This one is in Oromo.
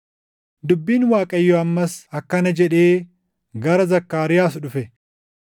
Dubbiin Waaqayyoo ammas akkana jedhee gara Zakkaariyaas dhufe: